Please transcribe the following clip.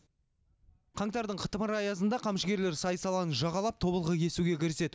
қаңтардың қытымыр аязында қамшыгерлер сай саланы жағалап тобылғы кесуге кіріседі